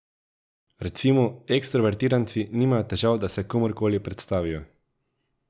Recimo, ekstrovertiranci nimajo težav, da se komurkoli predstavijo.